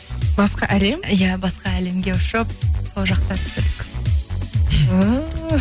басқа әлем иә басқа әлемге ұшып сол жақта түсірдік ііі